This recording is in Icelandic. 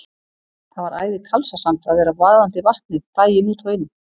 Það var æði kalsasamt að vera vaðandi Vatnið daginn út og inn.